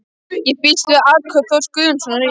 Ég býst við að atkvæði Þórs Guðjónssonar í